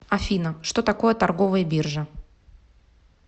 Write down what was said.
афина что такое торговая биржа